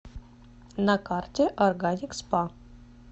на карте органик спа